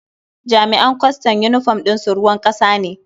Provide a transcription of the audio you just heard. Jami'an kwastam yunifom ɗin su ruwan ƙasa ne.